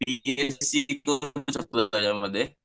यामध्ये